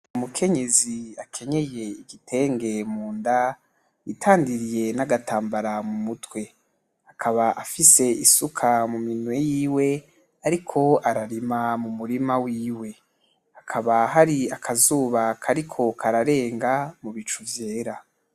Umukenyezi akenyeye igitenge munda, yitandiriye nagatambara mu mutwe, akaba afise isuka mu minwe yiwe ariko ararima mu murima wiwe ,hakaba hari akazuba kariko kararenga mu bicu vyera.